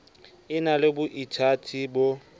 e na le boithati bo